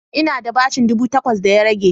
Ina da bashin ɗubu takwas da ya rage